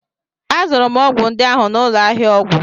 Azụrụ m ọgwụ ndị ahụ n'ụlọ ahịa ọgwụ